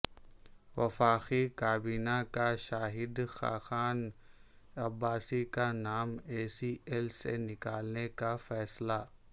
وفاقی کابینہ کا شاہد خاقان عباسی کا نام ای سی ایل سے نکالنے کا فیصلہ